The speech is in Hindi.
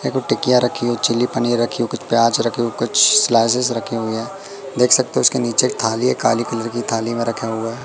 एक गो टिकिया रखी हो चिली पनीर रखी हो कुछ प्याज रखी हो कुछ स्लाइसेज रखे हुए हैं देख सकते हो उसके नीचे एक थाली है काली कलर की थाली में रखा हुआ है।